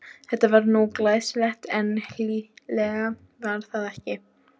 Þetta var nú glæsilegt, en hlýlegt var það ekki.